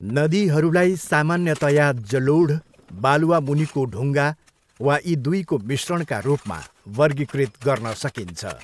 नदीहरूलाई सामान्यतया जलोढ, बालुवा मुनिको डुङ्गा, वा यी दुईको मिश्रणका रूपमा वर्गीकृत गर्न सकिन्छ।